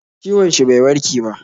Ciwon shi bai warke ba